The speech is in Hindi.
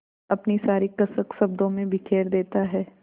अपनी सारी कसक शब्दों में बिखेर देता है